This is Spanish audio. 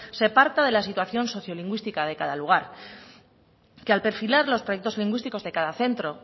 se parta de la situación sociolingüística de cada lugar que al perfilar los proyectos lingüísticos de cada centro